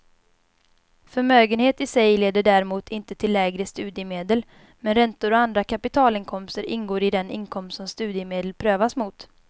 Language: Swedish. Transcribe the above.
Förmögenhet i sig leder däremot inte till lägre studiemedel, men räntor och andra kapitalinkomster ingår i den inkomst som studiemedel prövas mot.